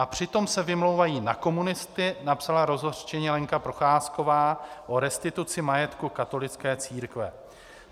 A přitom se vymlouvají na komunisty, napsala rozhořčeně Lenka Procházková o restituci majetku katolické církve.